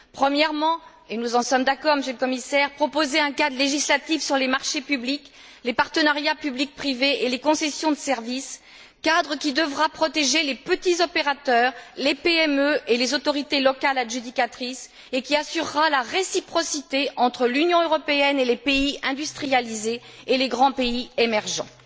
Premièrement, et nous en sommes d'accord, Monsieur le Commissaire, proposer un cadre législatif sur les marchés publics, les partenariats public privé et les concessions de services, cadre qui devra protéger les petits opérateurs, les PME et les autorités locales adjudicatrices, et qui assurera la réciprocité entre l'Union européenne et les pays industrialisés et les grands pays émergents.